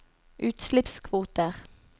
utslippskvoter